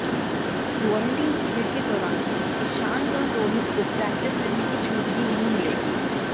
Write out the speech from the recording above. quarantine period के दौरान ईशांत और रोहित को प्रैक्टिस करने की छूट भी नहीं मिलेगी